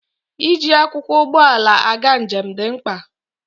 Iji akwụkwọ ụgbọala aga njem dị mkpa